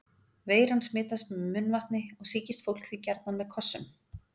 Veiran smitast með munnvatni og sýkist fólk því gjarnan með kossum.